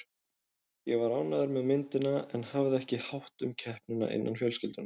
Ég var ánægð með myndina en hafði ekki hátt um keppnina innan fjölskyldunnar.